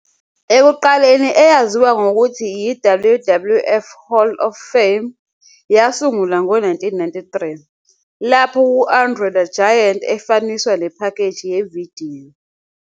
Ekuqaleni eyaziwa ngokuthi "i-WWF Hall of Fame", yasungulwa ngo-1993, lapho u-André the Giant efaniswa nephakheji yevidiyo.